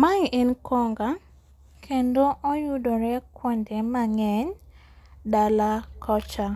Mae en konga, kendo oyudore kuonde mang'eny dala kocha.